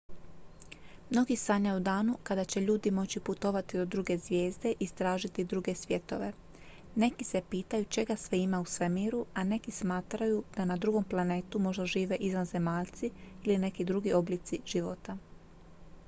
mnogi sanjaju o danu kada će ljudi moći putovati do druge zvijezde i istražiti druge svjetove neki se pitaju čega sve ima u svemiru a neki smatraju da na drugom planetu možda žive izvanzemaljci ili neki drugi oblici života